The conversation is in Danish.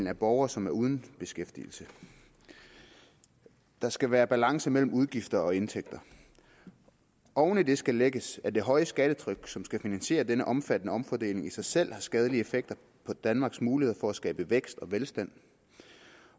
af borgere som er uden beskæftigelse der skal være balance mellem udgifter og indtægter oven i det skal lægges at det høje skattetryk som skal finansiere denne omfattende omfordeling i sig selv har skadelige effekter på danmarks muligheder for at skabe vækst og velstand